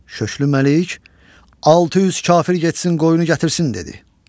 Şöklü Məlik 600 kafir getsin qoyunu gətirsin dedi.